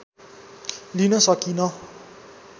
लिन सकिँन